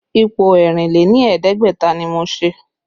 Ipo ẹ̀rìn lé ní ẹ̀ẹ́dẹ́gbẹ̀ta ni mo ṣe